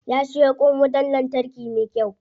Ya siyo kwan wutan lantarki me kyau.